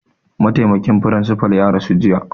Mataimakin firinsifa ya rasu jiya